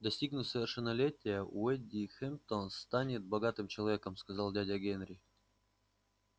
достигнув совершеннолетия уэйд хэмптон станет богатым человеком сказал дядя генри